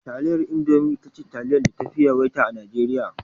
Taliyar Indomi ita ce taliyar da tafi yawaita a Najeriya.